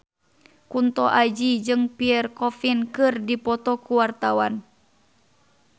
Kunto Aji jeung Pierre Coffin keur dipoto ku wartawan